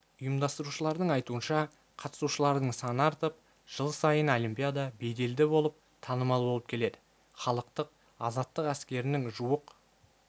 ұйымдастырушыладың айтуынша қатысушылардың саны артып жыл сайын олимпиада беделді болып танымал болып келеді халықтық-азаттық әскерінің жуық